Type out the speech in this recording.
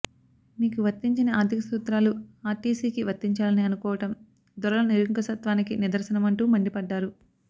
మీకు వర్తించని ఆర్థిక సూత్రాలు ఆర్టీసీకి వర్తించాలని అనుకోవడం దొరల నిరంకుశత్వానికి నిదర్శనమంటూ మండిపడ్డారు